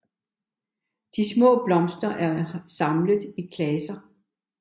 De små blomster er samlet i klaser